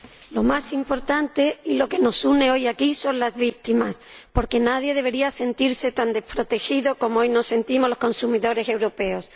Señor Presidente, lo más importante y lo que nos une hoy aquí son las víctimas, porque nadie debería sentirse tan desprotegido como hoy nos sentimos los consumidores europeos.